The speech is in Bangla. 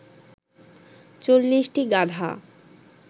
৪০টি গাধা